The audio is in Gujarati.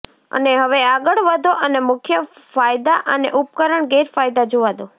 અને હવે આગળ વધો અને મુખ્ય ફાયદા અને ઉપકરણ ગેરફાયદા જોવા દો